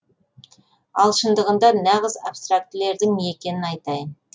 ал шындығында нағыз абстрактілердің не екенін айтайын